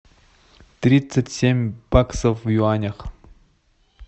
тридцать семь баксов в юанях